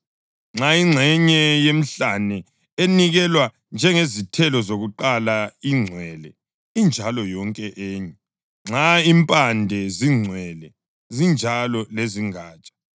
Nxa ingxenye yenhlama enikelwe njengezithelo zakuqala ingcwele, injalo yonke enye; nxa impande zingcwele, zinjalo lezingatsha.